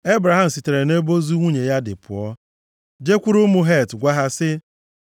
Ebraham sitere nʼebe ozu nwunye ya dị pụọ, jekwuru ụmụ Het gwa ha sị,